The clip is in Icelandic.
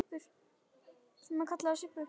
Æ, ég réð ekki við þetta.